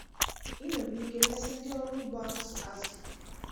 Ị nwere ike resị ndị ọrụ ugbo azụ̀ azụ̀.